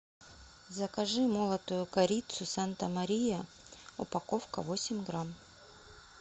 закажи молотую корицу санта мария упаковка восемь грамм